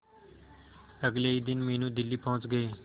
अगले ही दिन मीनू दिल्ली पहुंच गए